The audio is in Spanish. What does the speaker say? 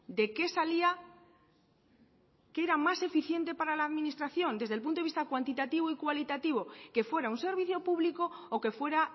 de qué salía qué era más eficiente para la administración desde el punto de vista cuantitativo y cualitativo que fuera un servicio público o que fuera